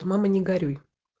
мама не горюй